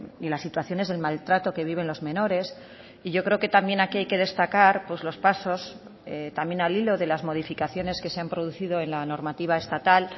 y las situaciones del maltrato que viven los menores y yo creo que también aquí hay que destacar los pasos también al hilo de las modificaciones que se han producido en la normativa estatal